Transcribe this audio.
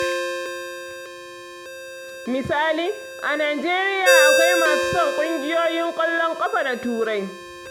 Misali, a Najeriya akwai masu son ƙungiyoyin ƙwallon ƙafa na Turai.